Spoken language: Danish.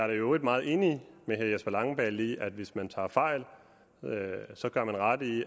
i øvrigt meget enig med herre jesper langballe i at man hvis man tager fejl så gør ret i